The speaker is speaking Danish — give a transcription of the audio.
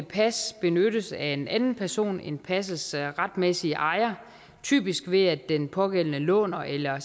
pas benyttes af en anden person end passets retmæssige ejer typisk ved at den pågældende låner eller